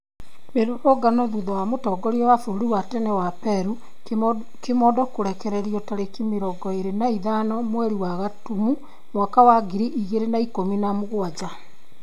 Mĩrũrũngano thũtha wa mũtongoria wa bũrũri wa tene wa Peru, kimondo kũrekererĩo tarĩki mĩrongo ĩrĩ na ithano mweri wa Gatumu mwaka wa ngiri igĩrĩ na ikũmi na mũgwanja